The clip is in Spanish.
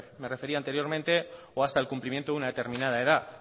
me refería anteriormente o hasta el cumplimiento de una determinada edad